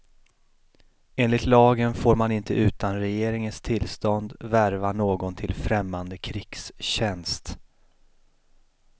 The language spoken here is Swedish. Enligt lagen får man inte utan regeringens tillstånd värva någon till främmande krigstjänst.